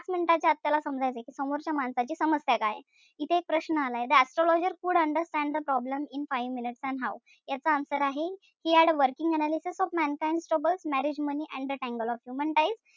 आपल्याला समजायचंय. समोरच्या माणसाची समस्या काय ए. इथे एक प्रश्न आलाय. the astrologer could understand the problem in five minutes and how याच answer आहे he had a working analysis of mankinds troubles marriage money and the tangle of human ties.